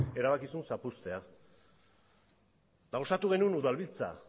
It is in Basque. erabaki zuen zapuztea eta osatu genuen udalbiltza